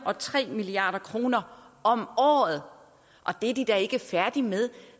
og tre milliard kroner om året og det er de da ikke færdige med